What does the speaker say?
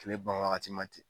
Kile ban wagati ma ten.